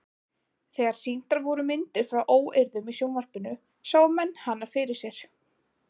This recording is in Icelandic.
Þegar sýndar voru myndir frá óeirðum í sjónvarpinu sáu menn hana fyrir sér.